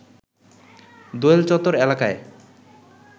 দোয়েল চত্বর এলাকায়